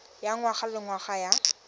ya ngwaga le ngwaga ya